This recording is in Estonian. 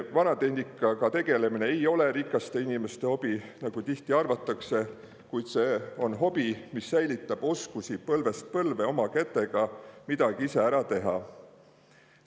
Vanatehnikaga tegelemine ei ole rikaste inimeste hobi, nagu tihti arvatakse, kuid see on hobi, mis säilitab põlvest põlve oskusi oma kätega midagi ise ära teha.